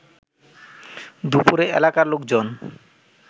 দুপুরে এলাকার লোকজন